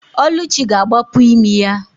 Ọlụchi ga-agbapu imi ya.